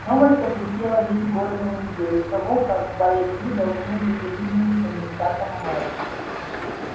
новость облетела весь город за неделю до того как байерли должны были выдвинуть кандидатом в мэры